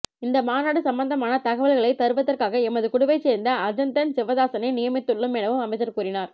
இந்த மாநாடு சம்பந்தமான தகவல்களை தருவதற்காக எமது குழுவைச்சேர்ந்த அஜந்தன் சிவதாஸனை நியமித்துள்ளளோம் எனவும் அமைச்சர் கூறினார்